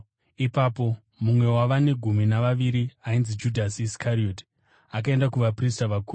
Ipapo mumwe wavane gumi navaviri, ainzi Judhasi Iskarioti, akaenda kuvaprista vakuru